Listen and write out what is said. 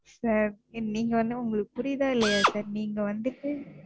Sir நீங்க வந்து உங்களுக்கு புரியுதா இல்லையா? Sir நீங்க வந்துட்டு,